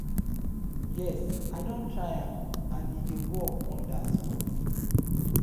yes i don try am and e dey work wonders for me.